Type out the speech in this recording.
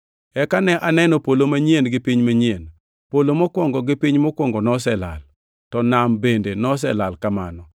Eka ne aneno polo manyien gi piny manyien. Polo mokwongo gi piny mokwongo noselal, to nam bende noselal kamano.